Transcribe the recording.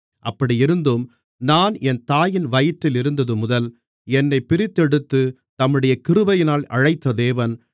அப்படியிருந்தும் நான் என் தாயின் வயிற்றிலிருந்தது முதல் என்னைப் பிரித்தெடுத்து தம்முடைய கிருபையினால் அழைத்த தேவன்